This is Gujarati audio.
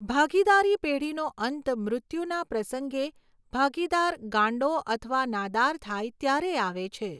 ભાગીદારી પેઢીનો અંત મૃત્યુના પ્રસંગે ભાગીદાર ગાંડો અથવા નાદાર થાય ત્યારે આવે છે.